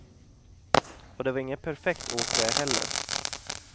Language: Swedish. Och det var inget perfekt åk det heller.